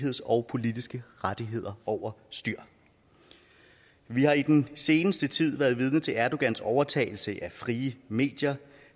og politiske rettigheder over styr vi har i den seneste tid været vidne til erdogans overtagelse af frie medier